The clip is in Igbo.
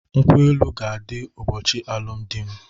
Nkwụ-elụ ka adi ụbochi alụm di m